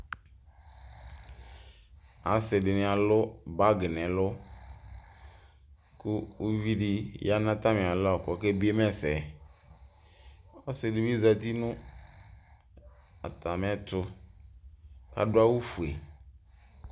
ɑsidini ɑlubagi nɛlu ku uvidiya nɑtamialɔ ƙɔkebiema ɛsɛdinefɛ ɔsidibi zɑti nutamialɔ kɔkebiema ɛsɛ ɔsidibi zɑti nɑtɑmietɔ ɑduawufue